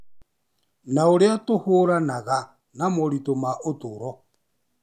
na ũrĩa tũhũranaga na moritũ ma ũtũũro.